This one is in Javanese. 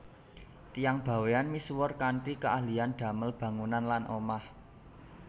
Tiyang Bawean misuwur kanthi keahlian damel bangunan lan omah